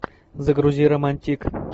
загрузи романтик